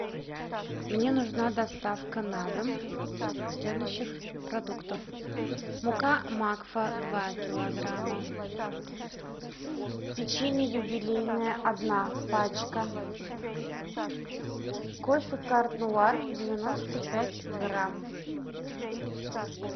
мне нужна доставка на дом следующих продуктов мука макфа два килограмма печенье юбилейное одна пачка кофе карт нуар девяносто пять грамм